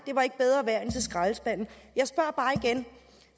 så skraldespanden